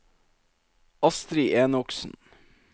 Astri Enoksen